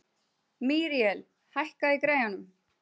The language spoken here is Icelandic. Míríel, hækkaðu í græjunum.